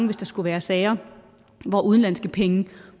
hvis der skulle være sager hvor udenlandske penge